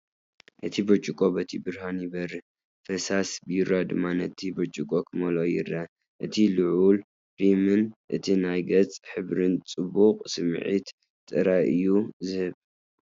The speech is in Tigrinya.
እቲ ብርጭቆ በቲ ብርሃን ይበርህ፡ ፍሳስ ቢራ ድማ ነቲ ብርጭቆ ክመልኦ ይረአ። እቲ ልዑል ሪምን እቲ ናይ ገጽ ሕብርን ጽቡቕ ስምዒት ጥራይ እዩ ዝህብ።